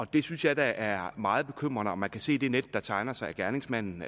det synes jeg da er meget bekymrende og man kan se det net der tegner sig gerningsmanden